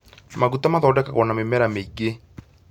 Maguta mathondekagwo na mĩmera mĩingĩ